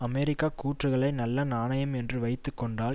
அமெரிக்க கூற்றுக்களை நல்ல நாணயம் என்று வைத்து கொண்டால்